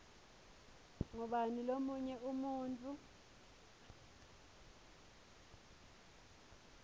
ngubani lomunye umuntfu